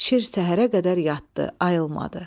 Şir səhərə qədər yatdı, ayılmadı.